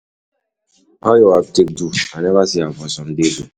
Wetin you go do for e evening? You dey plan any small gadering?